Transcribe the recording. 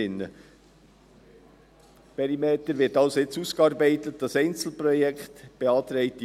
Der Perimeter wird jetzt also als Einzelprojekt ausgearbeitet;